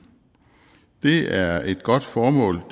det er et godt formål